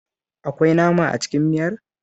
Akwai nama a cikin miyar?